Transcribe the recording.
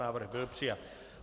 Návrh byl přijat.